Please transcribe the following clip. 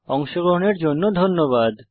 অংশগ্রহনের জন্য ধন্যবাদ